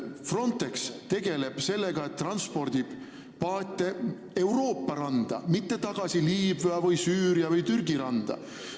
Frontex tegeleb sellega, et transpordib paate Euroopa randa, mitte tagasi Liibüa, Süüria või Türgi randa.